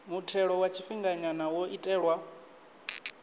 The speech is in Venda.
muthelo wa tshifhinganya wo itelwa